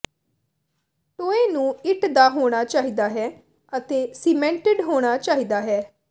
ਟੋਏ ਨੂੰ ਇੱਟ ਦਾ ਹੋਣਾ ਚਾਹੀਦਾ ਹੈ ਅਤੇ ਸੀਮੈਂਟੇਡ ਹੋਣਾ ਚਾਹੀਦਾ ਹੈ